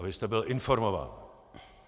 A vy jste byl informován.